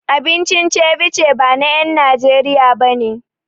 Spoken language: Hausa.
Abincin Ceviche ba na en Najeriya bane